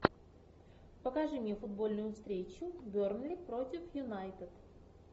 покажи мне футбольную встречу бернли против юнайтед